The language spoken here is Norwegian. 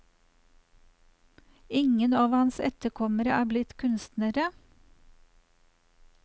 Ingen av hans etterkommere er blitt kunstnere.